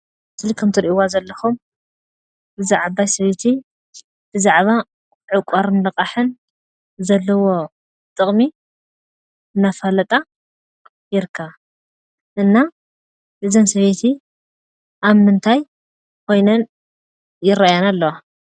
ከምዚ ትሪእዋ ዘለኹም እዛ ዓባይ ሰበይቲ ብዛዕባ ዕቋርን ልቃሕን ዘለዎ ጥቕሚ እናፋለጣ ይርከባ፡፡ እና እዘን ሰበይቲ ኣብ ምንታይ ኾይነን ይራኣያና ኣለዋ?